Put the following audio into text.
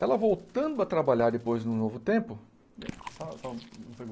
Ela voltando a trabalhar depois num novo tempo... Só só um